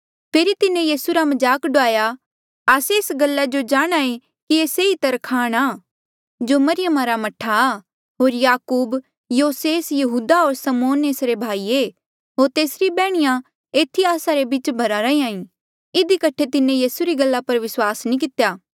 फेरी तिन्हें यीसू रा मजाक डूआया आस्से एस जो जाणहां ऐें कि ये सेई तरखाण आ जो मरियमा रा मह्ठा आ होर याकूब योसेस यहूदा होर समौन एसरे भाई ऐें होर तेसरी बैहणीया एथी आस्सा रे बीच भरा रैंहयां ईं इधी कठे तिन्हें यीसू पर विस्वास नी कितेया